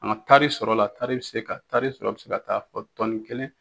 An taari sɔrɔ la, taari bɛ se ka taari sɔrɔ bɛ se ka taa fɔ tɔni kelen.